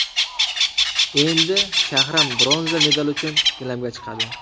Endi Shahram bronza medal uchun gilamga chiqadi.